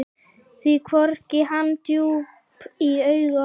Svo horfði hann djúpt í augu okkar.